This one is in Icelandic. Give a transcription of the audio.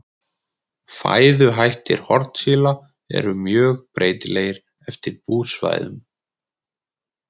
Fæðuhættir hornsíla eru mjög breytilegir eftir búsvæðum.